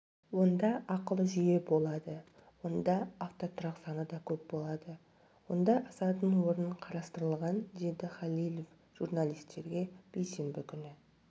онда ақылы жүйе болады онда автотұрақ саны да көп болады онда асатын орын қарастырылған деді халилев журналистерге бейсенбі күні